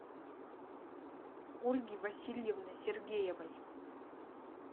ольги васильевны сергеевой